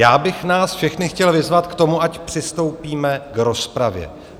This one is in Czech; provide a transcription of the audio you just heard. Já bych nás všechny chtěl vyzvat k tomu, ať přistoupíme k rozpravě.